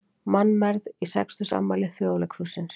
Mannmergð í sextugsafmæli Þjóðleikhússins